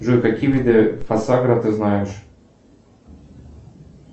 джой какие виды фосагро ты знаешь